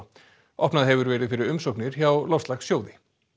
opnað hefur verið fyrir umsóknir hjá Loftslagssjóði